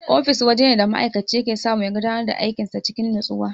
Ofis wajene da ma'aikaci yake samu ya gudanar da aikin sa cikin natsuwa.